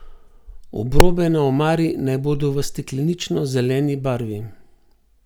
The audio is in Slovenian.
Obrobe na omari naj bodo v steklenično zeleni barvi.